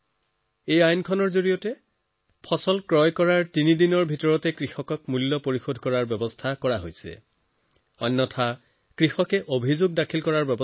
এই আইনত এই কথা নিৰ্ণয় কৰা হৈছে যে ফচল ক্ৰয় কৰাৰ তিনি দিনতে কৃষকক সম্পূৰ্ণ পেমেণ্ট কৰিব লাগিব আৰু যদি পেমেণ্ট নহয় তেন্তে কৃষকে অভিযোগ দাখিল কৰিব পাৰে